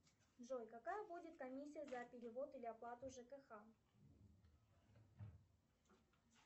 джой какая будет комиссия за перевод или оплату жкх